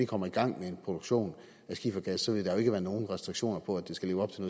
kommer i gang med en produktion af skifergas vil der jo ikke være nogen restriktioner på at det skal leve op til